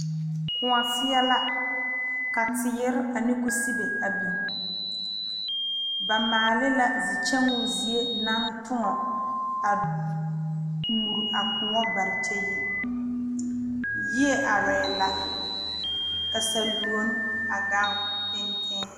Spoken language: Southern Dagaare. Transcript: Kõɔ seɛ la ka teere ane kusibe a biŋ ba maale la zi kyɛŋoo zie naŋ tõɔ a muri a kõɔ bare kyɛ yi yie arɛɛ la ka saluone a gaŋ penteŋ.